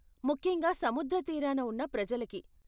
ముఖ్యంగా సముద్ర తీరాన ఉన్న ప్రజలకి.